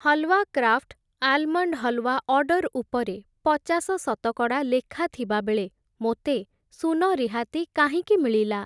Halwa Craft almond halwa order ଉପରେ ପଚାଶ ଶତକଡ଼ା ଲେଖା ଥିବାବେଳେ ମୋତେ ଶୂନ ରିହାତି କାହିଁକି ମିଳିଲା?